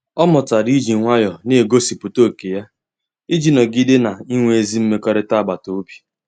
Ọ mụtara iji nwayọọ na-egosipụta ókè ya iji nọgide na-enwe ezi mmekọrịta agbata obi.